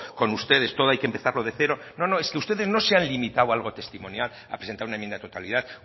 con ustedes todo hay que empezarlo de cero no no es que ustedes no se han limitado a algo testimonial a presentar una enmienda de totalidad